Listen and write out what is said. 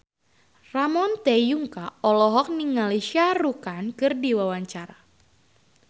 Ramon T. Yungka olohok ningali Shah Rukh Khan keur diwawancara